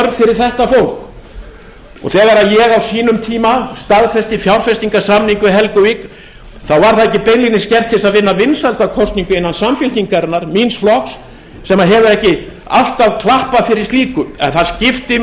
þetta fólk þegar ég á sínum tíma staðfesti fjárfestingarsamning við helguvík þá var það ekki beinlínis gert til þess að vinna vinsældakosningu innan samfylkingarinnar míns flokks sem hefur ekki alltaf klappað fyrir slíku en það skiptir